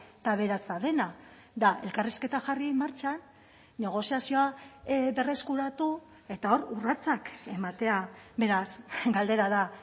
eta aberatsa dena da elkarrizketa jarri martxan negoziazioa berreskuratu eta hor urratsak ematea beraz galdera da